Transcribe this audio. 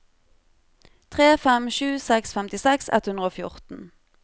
tre fem sju seks femtiseks ett hundre og fjorten